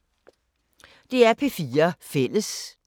DR P4 Fælles